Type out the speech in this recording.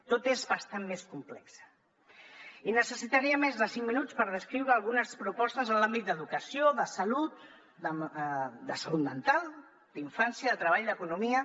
tot és bastant més complex i necessitaria més de cinc minuts per descriure algunes propostes en l’àmbit d’educació de salut de salut mental d’infància de treball d’economia